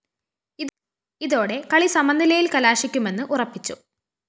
ഇതോടെ കളി സമനിലയില്‍ കലാശിക്കുമെന്ന് ഉറപ്പിച്ചു